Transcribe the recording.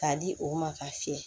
K'a di o ma k'a fiyɛ